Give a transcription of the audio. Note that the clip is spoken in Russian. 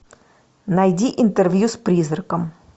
найди интервью с призраком